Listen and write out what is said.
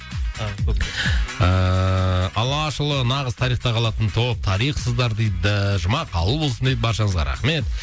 ыыы алашұлы нағыз тарихта қалатын топ тарихсыздар дейді жұма қабыл болсын дейді баршаңызға рахмет